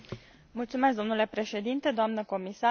Mulțumesc domnule președinte, doamnă comisar.